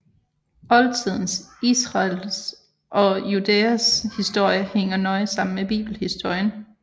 Oldtidens Israels og Judæas historie hænger nøje sammen med bibelhistorien